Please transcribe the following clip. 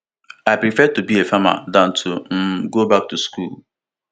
i prefer to be a farmer dan to um go back to school